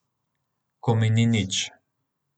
Ko mi ni nič.